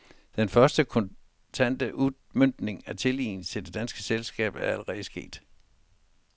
Den første, kontante udmøntning af tilliden til det danske selskab er allerede sket.